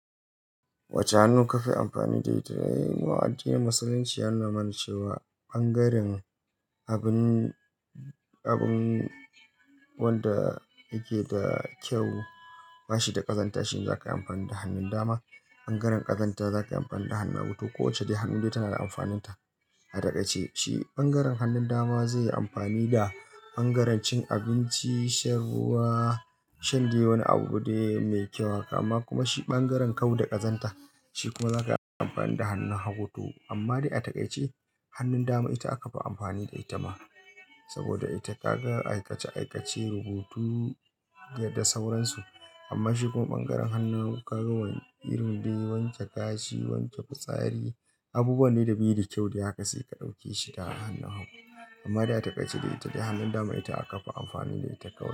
Wacce hannun ka fi amfani da ita? Mu a addinin Musulunci ya nuna mana cewa ɓangaren abun, abun wanda yake da kyau bashi da ƙazanta shi za ka yi amfani da hannun dama. Ɓangaren ƙazanta za ka yi amfani da hannun hagu. Ko wacce hannun dai tana da amfanin ta. A taƙaice shi ɓangaren hannun dama zai yi amfani da ɓangaren cin abinci, shan ruwa, shan dai wani abu dai mai kyau haka amma kuma shi ɓangaren kau da ƙazanta shi kuma za ka yi amfani da hannun hagu to amma dai a daƙa ce hannun dama ita aka fi amfani da ita ma. Saboda ita ka ga aikace aikace, rubutu da sauran su amma shi kuma ɓangaren hannun ka ga irin dai wanke gashi, wanke fitsari, abubuwan ne da bai da kyau da haka sai ka ɗauke shi da hannun hagu. Amma da a taƙaice ita dai hannun dama ita aka fi amfani da ita kawai.